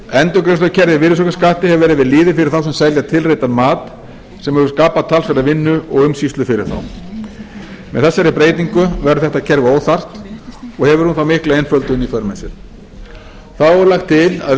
endurgreiðslukerfi á virðisaukaskatti hefur verið við lýði fyrir þá sem selja tilreiddan mat sem hefur skapað talsverða vinnu og umsýslu fyrir þá með þessari breytingu verður þetta kerfi óþarft og hefur hún þá mikla einföldun í för með sér þá er lagt til að